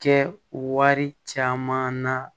Kɛ wari caman na